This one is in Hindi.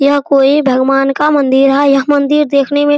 यह कोई भगवान का मंदिर है यह मंदिर देखने में --